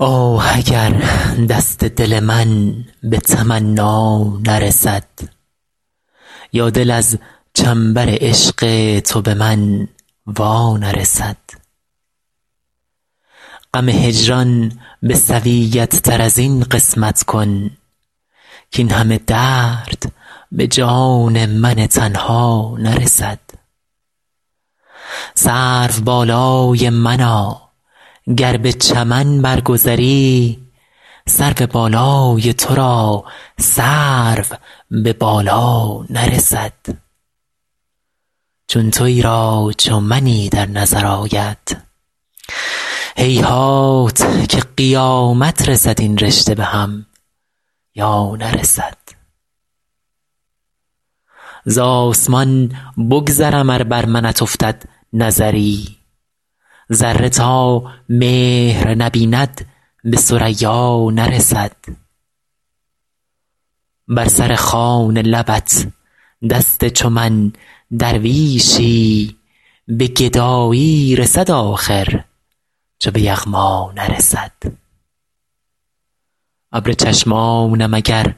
آه اگر دست دل من به تمنا نرسد یا دل از چنبر عشق تو به من وا نرسد غم هجران به سویت تر از این قسمت کن کاین همه درد به جان من تنها نرسد سروبالای منا گر به چمن بر گذری سرو بالای تو را سرو به بالا نرسد چون تویی را چو منی در نظر آید هیهات که قیامت رسد این رشته به هم یا نرسد زآسمان بگذرم ار بر منت افتد نظری ذره تا مهر نبیند به ثریا نرسد بر سر خوان لبت دست چو من درویشی به گدایی رسد آخر چو به یغما نرسد ابر چشمانم اگر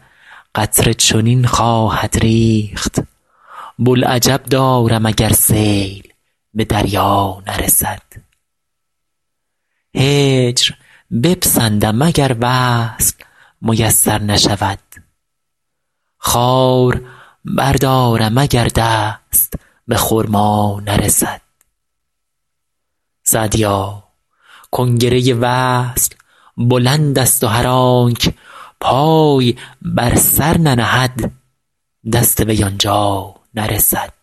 قطره چنین خواهد ریخت بوالعجب دارم اگر سیل به دریا نرسد هجر بپسندم اگر وصل میسر نشود خار بردارم اگر دست به خرما نرسد سعدیا کنگره وصل بلندست و هر آنک پای بر سر ننهد دست وی آن جا نرسد